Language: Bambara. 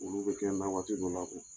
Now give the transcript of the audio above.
Olu bɛ kɛ n na waati dɔw la o